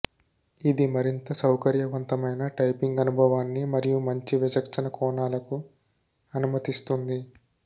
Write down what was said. ఇది మరింత సౌకర్యవంతమైన టైపింగ్ అనుభవానికి మరియు మంచి వీక్షణ కోణాలకు అనుమతిస్తుంది